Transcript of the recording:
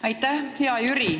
Aitäh!